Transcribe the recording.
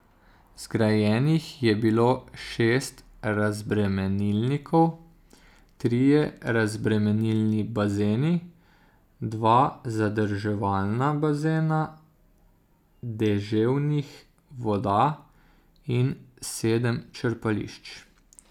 Zgrajenih je bilo šest razbremenilnikov, trije razbremenilni bazeni, dva zadrževalna bazena deževnih voda in sedem črpališč.